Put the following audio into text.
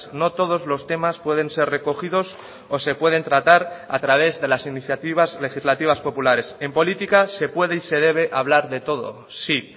no todos los temas pueden ser recogidos o se pueden tratar a través de las iniciativas legislativas populares en política se puede y se debe hablar de todo sí